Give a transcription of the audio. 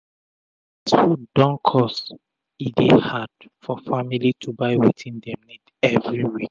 na d way wey everi bodi dey rush d tin don make d moni wey dem dey take make am go up